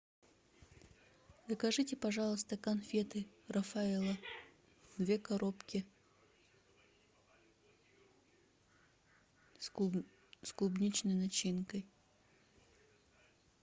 закажите пожалуйста конфеты рафаэлло две коробки с клубничной начинкой